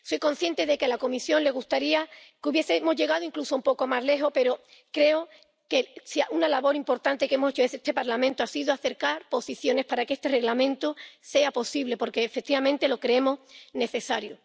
Soy consciente de que a la Comisión le gustaría que hubiésemos llegado incluso un poco más lejos, pero creo que una labor importante que hemos hecho en este Parlamento ha sido acercar posiciones para que este Reglamento sea posible, porque, efectivamente, lo creemos necesario.